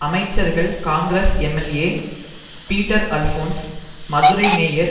அமைச்சர்கள் Congress MLA Peter Alphonse Madurai mayor